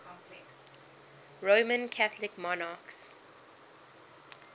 roman catholic monarchs